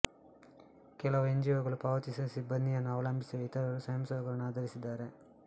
ಕೆಲವು ಎನ್ಜಿಒಗಳು ಪಾವತಿಸಿದ ಸಿಬ್ಬಂದಿಯನ್ನು ಅವಲಂಬಿಸಿವೆ ಇತರರು ಸ್ವಯಂಸೇವಕರನ್ನು ಆಧರಿಸಿದ್ದಾರೆ